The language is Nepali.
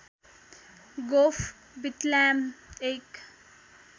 गोफ विट्ल्याम एक